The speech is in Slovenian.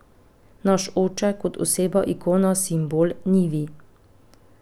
Naš oče, kot oseba, ikona, simbol, ni vi.